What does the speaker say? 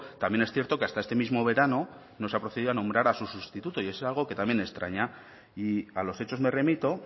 también es cierto que hasta este mismo verano no se ha procedido nombrar a su sustituto y es algo que también extraña y a los hechos me remito